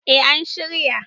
eh an shirya